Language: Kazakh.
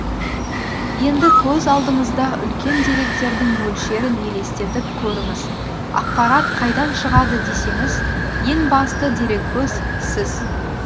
енді көз алдыңызда үлкен деректердің мөлшерін елестетіп көріңіз ақпарат қайдан шығады десеңіз ең басты дереккөз сіз